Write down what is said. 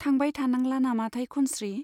थांबाय थानांला नामाथाय खनस्री ?